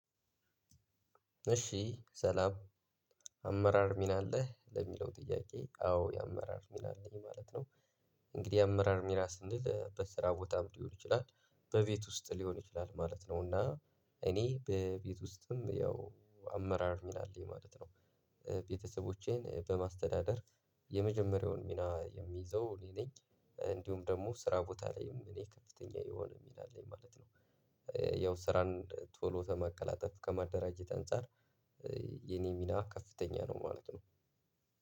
እሺ ሰላም አመራር ሚና አለህ ለሚለው ጥያቄ አዎ የአመራር ሚና አለኝ ማለት ነው። እንግዲህ የአመራር ሚና ስንል በስራ ቦታም ሊሆን ይችላል በቤት ውስጥ ሊሆን ይችላል ማለት ነው። እና እኔ በቤት ውስጥም ያው አመራር ሚና አለኝ ማለት ነው። ቤተሰቦቼን በማስተዳደር የመጀመሪያውን ሚና የምይዘው እኔ ነኝ። እንዲሁም ደግሞ ስራ ቦታ ላይም እኔ ከፍተኛ የሆነ ሚና አለኝ ማለት ነው። ያው ስራን ቶሎ ከማቀላጠፍ ከማደራጀት አንፃር የኔ ሚና ከፍተኛ ነው ማለት ነው።